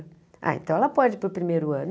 Ah, então ela pode ir para o primeiro ano.